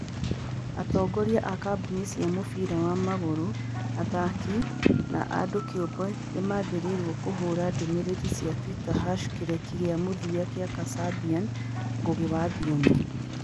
Atongoria a kambuni cia mũbira wa magũrũ, athaki, na andũ kĩũmbe nĩ maathĩrĩirio kũhũra ndũmĩrĩri cia Twitter #kĩreki gĩa mũthia kĩa Kasabian. Ngũgĩ wa Thiong'o